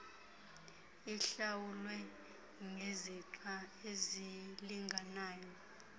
ihlawulwe ngezixa ezilinganayo